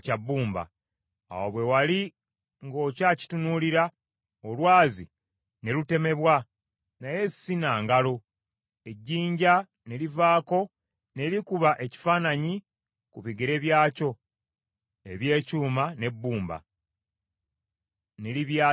Awo bwe wali ng’okyakitunuulira, olwazi ne lutemebwa, naye si na ngalo, ejjinja ne livaako ne likuba ekifaananyi ku bigere byakyo eby’ekyuma n’ebbumba, ne libyasaayasa.